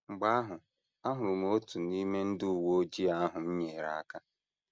Mgbe ahụ, ahụrụ m otu n’ime ndị uwe ojii ahụ m nyeere aka.